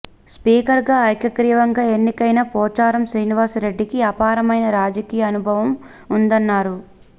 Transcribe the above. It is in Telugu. స్పీకర్గా ఏకగ్రీవంగా ఎన్నికైన పోచారం శ్రీనివాస రెడ్డికి అపారమైన రాజకీయ అనుభవం ఉందన్నారు